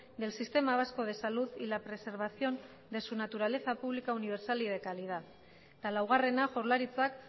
del sistema vasco de salud y la preservación de su naturaleza pública universal y de calidad eta laugarrena jaurlaritzak